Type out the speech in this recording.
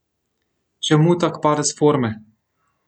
Čemu tak padec forme?